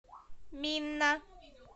минна